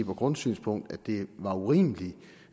og grundsynspunkt at det var urimeligt